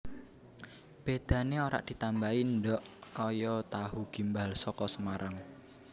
Bedane ora ditambahi ndhog kaya tahu gimbal saka Semarang